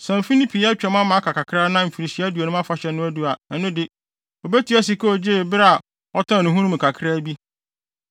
Sɛ mfe no pii atwam ama aka kakra na Mfirihyia Aduonum Afahyɛ no adu a, ɛno de, obetua sika a ogyee bere a ɔtɔn ne ho no mu kakraa bi.